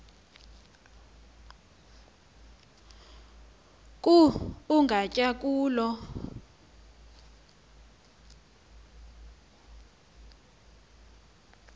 ku ugatya khulu